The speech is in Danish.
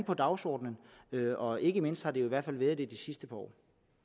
på dagsordenen og ikke mindst har det i hvert fald været det i det sidste par år